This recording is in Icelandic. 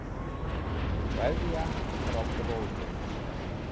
Kveðja frá bróður.